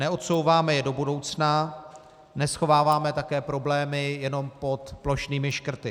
Neodsouváme je do budoucna, neschováváme také problémy jenom pod plošnými škrty.